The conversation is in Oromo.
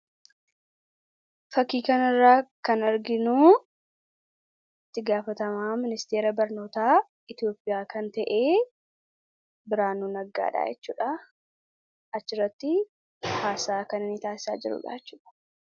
fakii kana irra kan arginu itti gaafatama ministeera barnootaa itiyoopiyaa kan ta'e Biraanuu Naggaadha jechuudha achirratti haasaa kan ini taasisaa jiru dhaa jechuudha